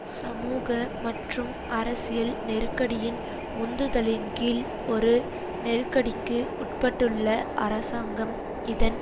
சமூக மற்றும் அரசியல் நெருக்கடியின் உந்துதலின்கீழ் ஒரு நெருக்கடிக்கு உட்பட்டுள்ள அரசாங்கம் இதன்